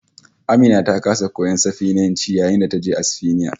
AMina ta kasa koyon Sifaniyanci yayin da taje Asfaniya